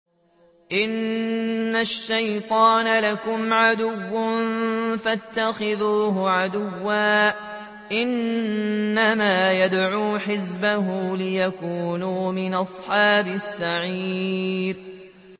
إِنَّ الشَّيْطَانَ لَكُمْ عَدُوٌّ فَاتَّخِذُوهُ عَدُوًّا ۚ إِنَّمَا يَدْعُو حِزْبَهُ لِيَكُونُوا مِنْ أَصْحَابِ السَّعِيرِ